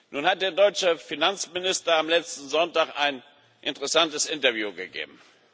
Nun hat der deutsche Finanzminister am letzten Sonntag ein interessantes Interview gegeben.